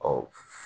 Ɔ